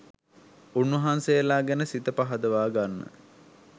උන්වහන්සේලා ගැන සිත පහදවා ගන්න